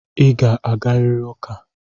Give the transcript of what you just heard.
Ị ga-agarịrị ụka!